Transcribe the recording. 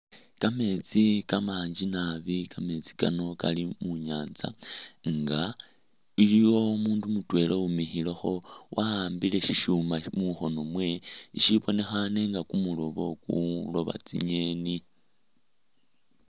Kameetsi kamanji naabi kameetsi kano kali munyanza nga iliwo umundu mutwela uwimikhilekho wawambile shishuma mukhoono mwewe i'shibonekhane nga kumuloobo kulooba tsingeni